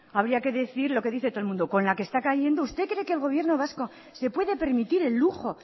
habría que decir lo que dice todo el mundo con la que está cayendo usted cree que el gobierno vasco se puede permitir el lujo